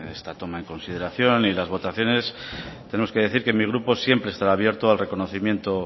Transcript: esta toma en consideración y las votaciones tenemos que decir que mi grupo siempre estará abierto al reconocimiento